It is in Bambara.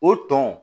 O tɔn